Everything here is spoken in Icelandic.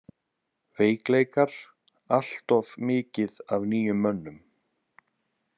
Veikleikar: Alltof mikið af nýjum mönnum.